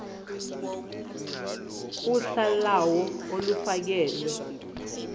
uhla lawo olufakelwe